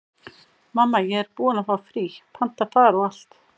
Mamma, ég er búin að fá frí, panta far og allt.